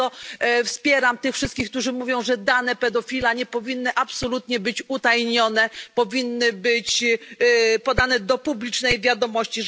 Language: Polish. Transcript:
Dlatego wspieram tych wszystkich, którzy mówią, że dane pedofila nie powinny absolutnie być utajnione, powinny być podane do publicznej wiadomości.